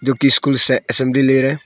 जो कि से असेंबली ले रहा है।